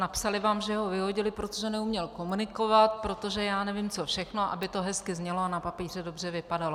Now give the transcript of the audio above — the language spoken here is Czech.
Napsali vám, že ho vyhodili, protože neuměl komunikovat, protože já nevím, co všechno, aby to hezky znělo a na papíře dobře vypadalo.